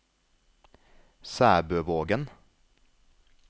Sæbøvågen